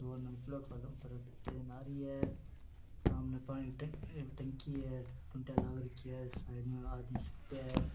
train आ रही है सामने पानी की टंकी लाग राखी है साइड मे आदमी